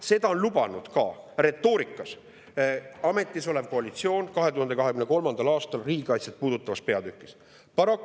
Seda retoorikas lubas ka ametis olev koalitsioon 2023. aastal riigikaitset puudutavas peatükis.